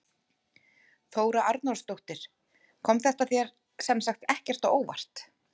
Þóra Arnórsdóttir: Kom þetta þér sem sagt ekkert á óvart?